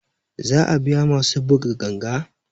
Za a biya masu buga ganga